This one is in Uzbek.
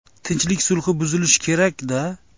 Tinchlik sulhi buzilishi kerak-da.